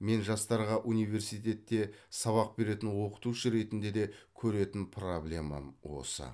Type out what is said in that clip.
мен жастарға университетте сабақ беретін оқытушы ретінде де көретін проблемам осы